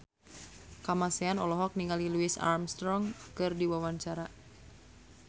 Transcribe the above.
Kamasean olohok ningali Louis Armstrong keur diwawancara